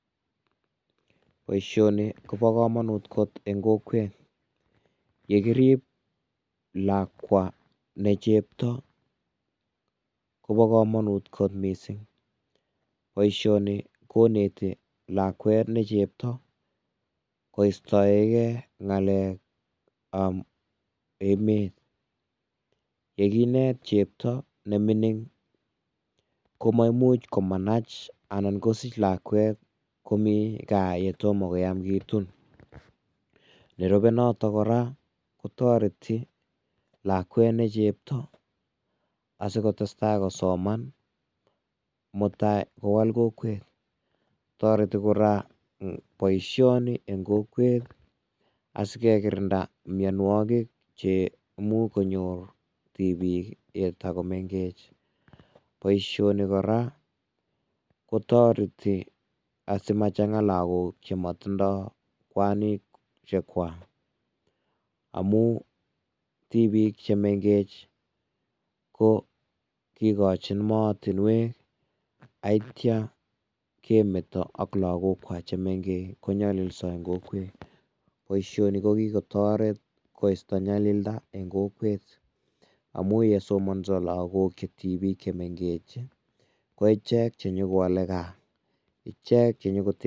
Boisioni kobo komunut kot en kokwet yekirip lakwa ne chepto kobo komunut kot mising. Boisioni koneti lakwet nechepto koistoeng' ng'alek ab emet. Yekinet chepto nemining' komaimuch komanach ana kosich lakwet ko Kaa kotom koyam kitun. Nerube noto kora kotoreti lakwet nechepto asikotestai kosoman asi mutai kowal kokwet. Kora kobo komonut boisioni en kokwet asikekirinda mionwogik cheimuch konyor tibiik yetogomengech. Boisioni kora kotoreti asimachanga logok chemotindo kwanisiek kwak amun tibiik chemeng'ech ko kigochin mootinwek akitya kemeti logok kwak chemeng'ech konyoliso en kokwet. Boisioni kokikotoret koisto nyalilda en kokwet amun yesomonso logok chemengech che tibiik en kokwet ko icheket chenyokowole kaa.